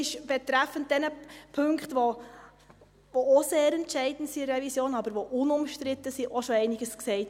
Betreffend die Punkte, die in der Revision auch sehr entscheidend, aber unumstritten sind, wurde auch schon einiges gesagt.